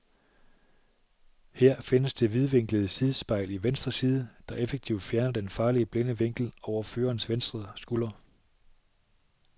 Her findes det vidvinklede sidespejl i venstre side, der effektivt fjerner den farlige blinde vinkel over førerens venstre skulder.